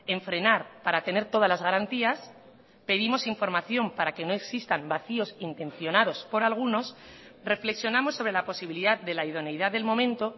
en frenar para tener todas las garantías pedimos información para que no existan vacíos intencionados por algunos reflexionamos sobre la posibilidad de la idoneidad del momento